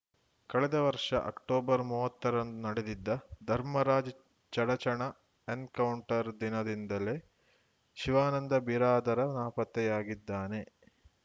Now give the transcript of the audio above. ಕಳೆದ ವರ್ಷ ಅಕ್ಟೋಬರ್‌ ಮೂವತ್ತರಂದು ನಡೆದಿದ್ದ ಧರ್ಮರಾಜ್‌ ಚಡಚಣ ಎನಕೌಂಟರ್‌ ದಿನದಿಂದಲೇ ಶಿವಾನಂದ ಬಿರಾದಾರ ನಾಪತ್ತೆಯಾಗಿದ್ದಾನೆ